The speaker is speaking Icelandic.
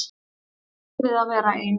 Ótti við að vera ein.